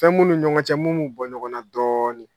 Fɛn m'u ni ɲɔgɔncɛ mun b'u bɔ ɲɔgɔn na dɔɔnin.